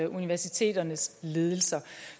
universiteternes ledelser